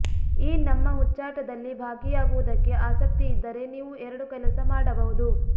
ಈ ನಮ್ಮ ಹುಚ್ಚಾಟದಲ್ಲಿ ಭಾಗಿಯಾಗುವುದಕ್ಕೆ ಆಸಕ್ತಿಯಿದ್ದರೆ ನೀವು ಎರಡು ಕೆಲಸ ಮಾಡಬಹುದು